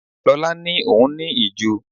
Lola ni òun ní ìju.